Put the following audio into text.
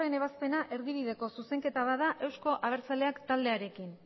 ebazpena erdibideko zuzenketa bat euzko abertzaleak taldearekin